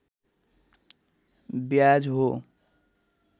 ब्याज हो